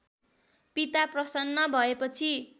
पिता प्रसन्न भएपछि